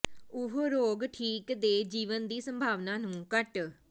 ਉਹ ਰੋਗ ਠੀਕ ਦੇ ਜੀਵਨ ਦੀ ਸੰਭਾਵਨਾ ਨੂੰ ਘੱਟ